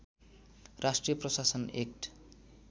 राष्ट्रिय प्रशासन एक्ट